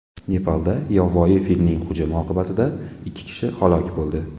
Nepalda yovvoyi filning hujumi oqibatida ikki kishi halok bo‘ldi.